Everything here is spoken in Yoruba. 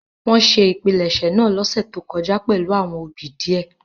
Wọn ṣe ìpilẹ̀ṣẹ̀ naa losẹ to kọja pẹlu awọn obì diẹ.